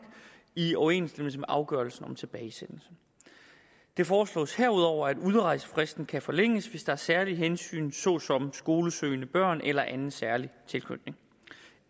i overensstemmelse med afgørelsen om tilbagesendelse det foreslås herudover at udrejsefristen kan forlænges hvis der er særlige hensyn såsom skolesøgende børn eller anden særlig tilknytning